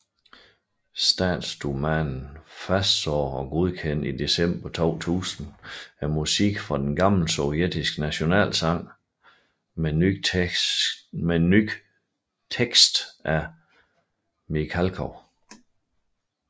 Statsdumaen fastsagde og godkendte i december 2000 musikken fra den gamle sovjetiske nationalsang med ny tekst af Mikhalkov